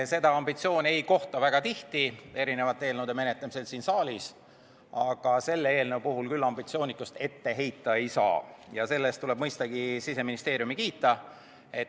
Seda ambitsiooni ei kohta väga tihti erinevate eelnõude menetlemisel siin saalis, aga selle eelnõu puhul küll ambitsioonitust ette heita ei saa ja selle eest tuleb mõistagi Siseministeeriumi kiita.